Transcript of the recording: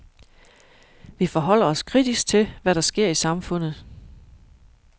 Vi forholder os kritisk til, hvad der sker i samfundet.